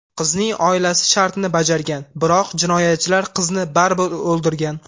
Qizning oilasi shartni bajargan, biroq jinoyatchilar qizni baribir o‘ldirgan.